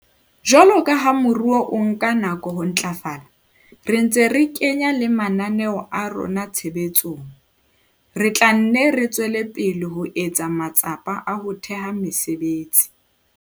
Jwalo ka ha moruo o nka nako ho ntlafala, re ntse re kenya le mananeo a rona tshebetsong, re tla nne re tswele pele ho etsa matsapa a ho theha mesebetsi.